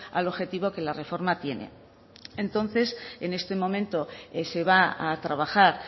al objetivo que la reforma tiene entonces en este momento se va a trabajar